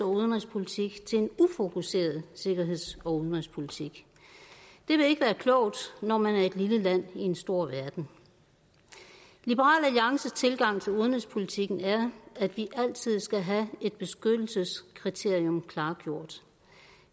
og udenrigspolitik til en ufokuseret sikkerheds og udenrigspolitik det vil ikke være klogt når man er et lille land i en stor verden liberal alliances tilgang til udenrigspolitikken er at vi altid skal have et beskyttelseskriterium klargjort